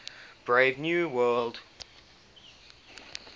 brave new world